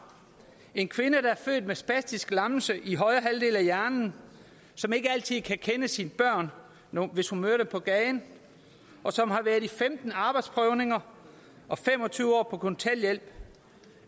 en kvinde der er født med spastisk lammelse i højre halvdel af hjernen som ikke altid kan kende sine børn hvis hun møder dem på gaden og som har været i femten arbejdsprøvninger og fem og tyve år på kontanthjælp